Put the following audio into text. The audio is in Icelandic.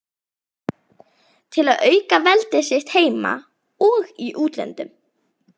til að auka veldi sitt heima og í útlöndum.